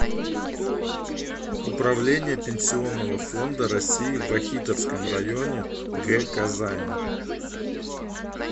управление пенсионного фонда россии в вахитовском районе г казани